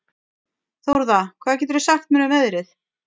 Þórða, hvað geturðu sagt mér um veðrið?